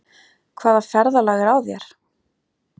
Hvaða ferðalag er á þér?